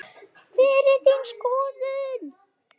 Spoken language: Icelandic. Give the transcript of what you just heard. HVER ER ÞÍN SKOÐUN?